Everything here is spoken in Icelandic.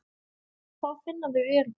Þá finna þau öryggi.